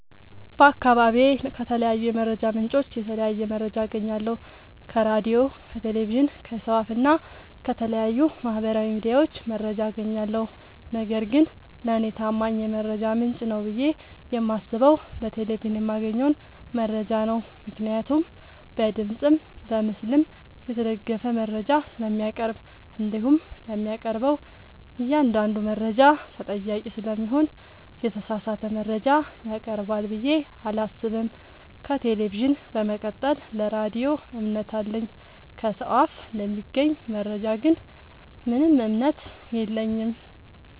በአካባቢዬ ከተለያዩ የመረጃ ምንጮች የተለያየ መረጃ አገኛለሁ ከራዲዮ ከቴሌቪዥን ከሰው አፋ እና ከተለያዩ ማህበራዊ ሚዲያዎች መረጃ አጋኛለሁ። ነገርግን ለኔ ታማኝ የመረጃ ምንጭ ነው ብዬ የማስበው በቴሌቪዥን የማገኘውን መረጃ ነው ምክንያቱም በድምፅም በምስልም የተደገፈ መረጃ ስለሚያቀርብ። እንዲሁም ለሚያቀርበው እኛአንዳዱ መረጃ ተጠያቂ ስለሚሆን የተሳሳተ መረጃ ያቀርባል ብዬ አላሰብም። ከቴሌቪዥን በመቀጠል ለራዲዮ እምነት አለኝ። ከሰው አፍ ለሚገኝ መረጃ ግን ምንም እምነት የለኝም።